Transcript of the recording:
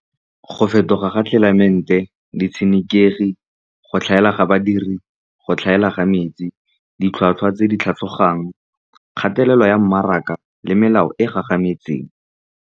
Go fetoga ga tlelaemete, ditshenekegi, go tlhaela ga badiri, go tlhaela ga metsi, ditlhwatlhwa tse di tlhogang, kgatelelo ya mmaraka le melao e e gagametseng.